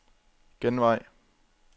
genvej